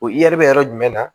O bɛ yɔrɔ jumɛn na